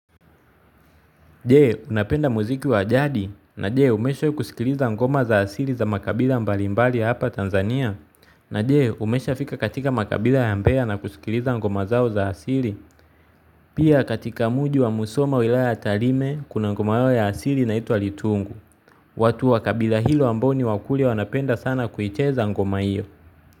Jee unapenda muziki wa jadi na jee umesho kusikiliza ngoma za asili za makabila mbalimbali hapa Tanzania na jee umeshafika katika makabila ya mbeya na kusikiliza ngoma zao za asili? Pia katika muji wa musoma wilaya talime kuna ngoma yao ya asili inaitwa litungu watu wakabila hilo ambao ni wakuli wanapenda sana kuicheza ngoma iyo.